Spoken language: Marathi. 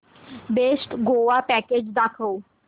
बेस्ट गोवा पॅकेज दाखव